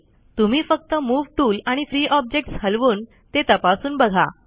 तुम्ही फक्त move tool आणि फ्री ऑब्जेक्ट्स हलवून ते तपासून बघा